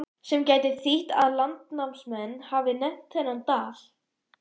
Sem gæti þýtt að landnámsmenn hafi nefnt þennan dal.